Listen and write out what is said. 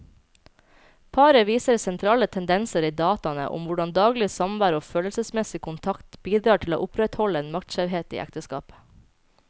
Paret viser sentrale tendenser i dataene om hvordan daglig samvær og følelsesmessig kontakt bidrar til å opprettholde en maktskjevhet i ekteskapet.